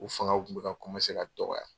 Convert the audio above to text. U fangaw kun bɛ ka ka dɔgɔya.